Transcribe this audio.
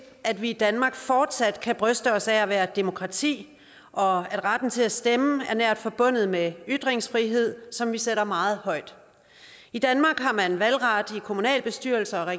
at vi i danmark fortsat kan bryste os af at være et demokrati og retten til at stemme er nært forbundet med ytringsfrihed som vi sætter meget højt i danmark har man valgret til kommunalbestyrelser og